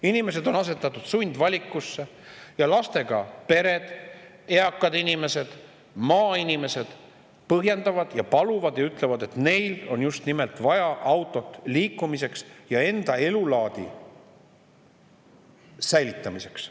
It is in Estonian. Inimesed on asetatud sundvaliku ette ja lastega pered, eakad inimesed, maainimesed paluvad ja ütlevad, et neil on autot vaja just nimelt liikumiseks ja senise elulaadi säilitamiseks.